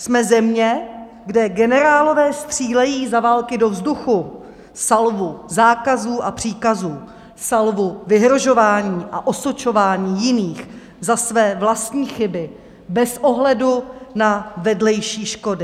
Jsme země, kde generálové střílejí za války do vzduchu salvu zákazů a příkazů, salvu vyhrožování a osočování jiných za své vlastní chyby bez ohledu na vedlejší škody.